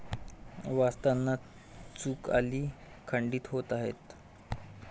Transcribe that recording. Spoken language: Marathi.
वाचताना चुक आली.... खंडीत होत आहे